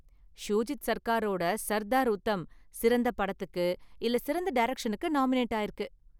ஷூஜித் சர்க்காரோட சர்தார் உத்தம் சிறந்த படத்துக்கு இல்ல சிறந்த டைரக்ஷனுக்கு நாமினேட் ஆயிருக்கு.